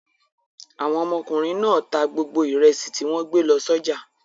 Àwọn ọmọkùnrin náà ta gbogbo ìrẹsì tí wọ́n gbé lọ sọ́jà.